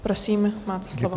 Prosím, máte slovo.